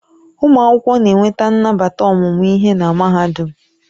Ụmụ akwụkwọ na-enweta nnabata ọmụmụ ihe na Mahadum.